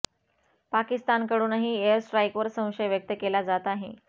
पाकिस्तानकडूनही air स्ट्राइकवर संशय व्यक्त केला जात आहे